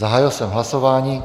Zahájil jsem hlasování.